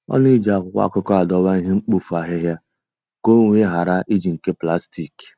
Ọ na-eji akwụkwọ akụkọ adowa ihe mkpofu ahịhịa ka o wee ghara iji nke plastik.